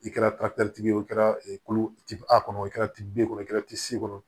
I kɛra ye o kɛra a kɔnɔ o kɛra tibe kɔnɔ o kɛra tisi kɔnɔ